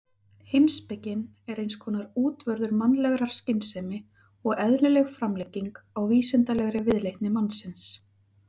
Heimspekin er eins konar útvörður mannlegrar skynsemi og eðlileg framlenging á vísindalegri viðleitni mannsins.